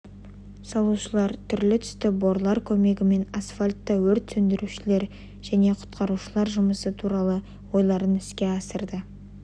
салушылар түрлі түсті борлар көмегімен асфальтта өрт сөндірушілер және құтқарушылар жұмысы туралы ойларын іске асырды